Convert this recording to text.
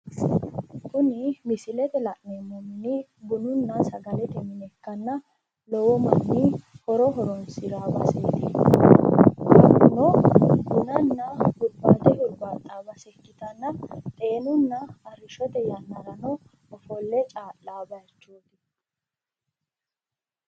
Kunni misillete la'neemohunni bununna sagalete mine ikkanna lowo manni horo horoonsirao baseeti hakuno bunnanna hurbaate hurbaaxao basee ikitanna xeenunna arishote yannarano ofolle caa'lao bayichooti.